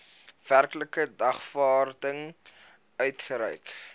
werklike dagvaarding uitgereik